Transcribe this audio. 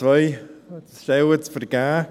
Es sind 2 Stellen zu vergeben.